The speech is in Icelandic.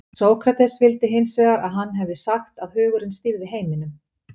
sókrates vildi hins vegar að hann hefði sagt að hugurinn stýrði heiminum